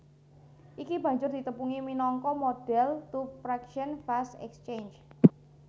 Iki banjur ditepungi minangka modhèl two fraction fast exchange